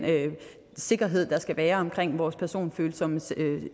sikkerhed der skal være omkring vores personfølsomme